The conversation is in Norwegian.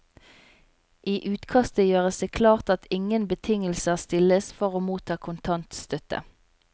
I utkastet gjøres det klart at ingen betingelser stilles for å motta kontantstøtte.